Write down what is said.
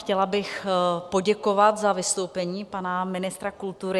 Chtěla bych poděkovat za vystoupení pana ministra kultury.